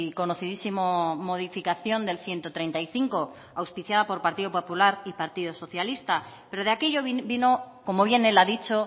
conocidísimo modificación del ciento treinta y cinco auspiciada por partido popular y partido socialista pero de aquello vino como bien él ha dicho